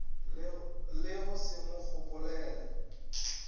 le go se mo gopolele